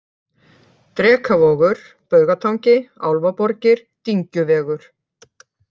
Drekavogur, Baugatangi, Álfaborgir, Dyngjuvegur